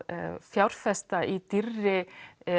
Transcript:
fjárfesta í dýrri